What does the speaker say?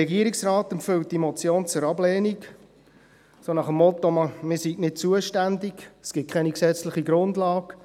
Der Regierungsrat empfiehlt die Motion zur Ablehnung, so nach dem Motto, man sei nicht zuständig, es gebe keine gesetzliche Grundlage;